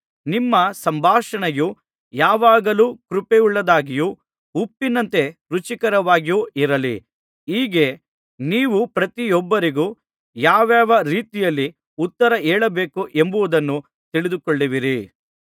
ನಿಮ್ಮ ಸಂಭಾಷಣೆಯು ಯಾವಾಗಲೂ ಕೃಪೆಯುಳ್ಳದ್ದಾಗಿಯೂ ಉಪ್ಪಿನಂತೆ ರುಚಿಕರವಾಗಿಯೂ ಇರಲಿ ಹೀಗೆ ನೀವು ಪ್ರತಿಯೊಬ್ಬರಿಗೂ ಯಾವಾವ ರೀತಿಯಲ್ಲಿ ಉತ್ತರಹೇಳಬೇಕು ಎಂಬುದನ್ನು ತಿಳಿದುಕೊಳ್ಳುವಿರಿ